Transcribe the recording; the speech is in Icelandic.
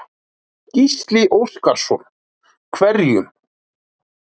Gísli Óskarsson: Hverjum?